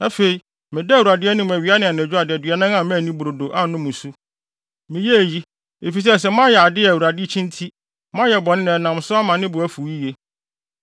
Afei, medaa Awurade anim awia ne anadwo adaduanan a manni brodo, annom nsu. Meyɛɛ eyi, efisɛ sɛ moayɛ ade a Awurade kyi nti, moayɛ bɔne na ɛnam so ama ne bo afuw yiye.